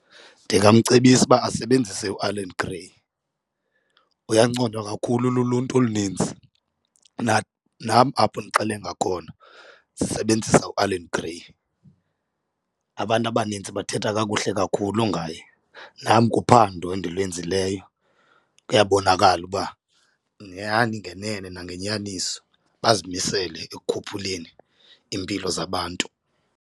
Ndingamcebisa uba asebenzise uAllan Grey, uyanconywa kakhulu luluntu olunintsi, nam apho ndixelenga khona sisebenzisa uAllan Grey. Abantu abanintsi bathetha kakuhle kakhulu ngaye nam, kuphando endilwenzileyo kuyabonakala ukuba nyani ngenene nangenyaniso bazimisele ekukhuphuleni iimpilo zabantu.